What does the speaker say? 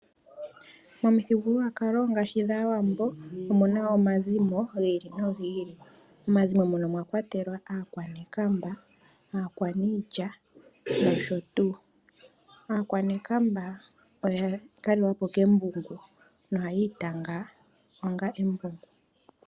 Momithigululwakalo ngaashi dhAawambo omuna omazimo gi ili nogiili mwakwatele aakwanekamba, aakwaniilya nosho tuu. Aakwanekamba oya kalelwa po kembungu nohayi itanga onga embungu.